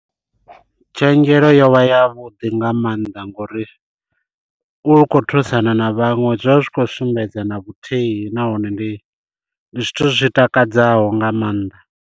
Tshenzhelo yo vha ya vhuḓi nga maanḓa ngo uri u khou thusana na vhaṅwe zwi vha zwi khou sumbedza na vhuthihi nahone ndi ndi zwithu zwi takadzaho nga maanḓa.